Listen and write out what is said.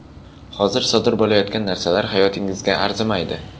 Hozir sodir bo‘layotgan narsalar hayotingizga arzimaydi.